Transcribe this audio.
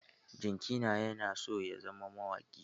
Jikana yana so ya zama mawaƙi.